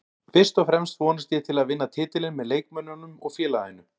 Fyrst og fremst vonast ég til að vinna titilinn með leikmönnunum og félaginu